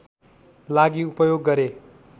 लागि उपयोग गरे